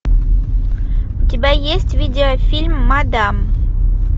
у тебя есть видеофильм мадам